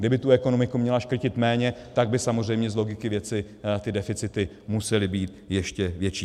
Kdyby tu ekonomiku měla škrtit méně, tak by samozřejmě z logiky věci ty deficity musely být ještě větší.